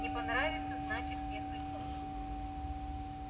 не понравится значит не судьба